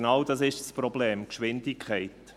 Genau dies ist das Problem: die Geschwindigkeit.